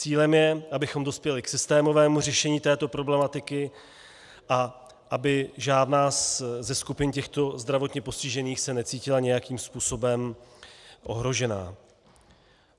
Cílem je, abychom dospěli k systémovému řešení této problematiky a aby žádná ze skupin těchto zdravotně postižených se necítila nějakým způsobem ohrožena.